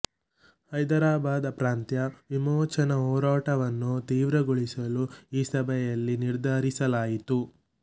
ಹೈದರಾಬಾದ ಪ್ರಾಂತ್ಯ ವಿಮೋಚನಾ ಹೋರಾಟವನ್ನು ತೀವ್ರಗೊಳಿಸಲು ಈ ಸಭೆಯಲ್ಲಿ ನಿರ್ಧರಿಸಲಾಯಿತು